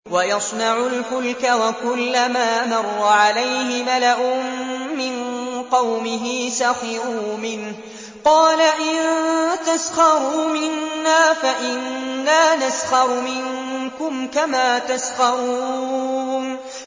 وَيَصْنَعُ الْفُلْكَ وَكُلَّمَا مَرَّ عَلَيْهِ مَلَأٌ مِّن قَوْمِهِ سَخِرُوا مِنْهُ ۚ قَالَ إِن تَسْخَرُوا مِنَّا فَإِنَّا نَسْخَرُ مِنكُمْ كَمَا تَسْخَرُونَ